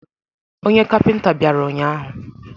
Onye kapịnta bịara ụnyahụ.